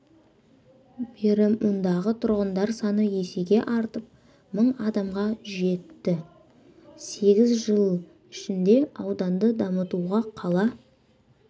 бері мұндағы тұрғындар саны есеге артып мың адамға жетті сегіз жыл ішінде ауданды дамытуға қала